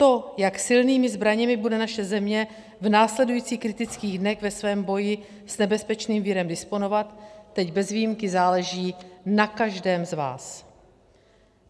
To, jak silnými zbraněmi bude naše země v následujících kritických dnech ve svém boji s nebezpečným virem disponovat, teď bez výjimky záleží na každém z vás.